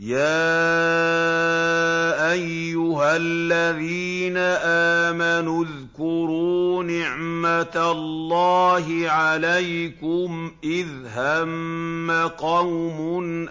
يَا أَيُّهَا الَّذِينَ آمَنُوا اذْكُرُوا نِعْمَتَ اللَّهِ عَلَيْكُمْ إِذْ هَمَّ قَوْمٌ